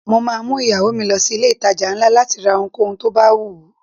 Mo máa mú ìyàwó mi lọ sí ilé ìtajà ńlá láti ra ohunkóhun tó bá wùú.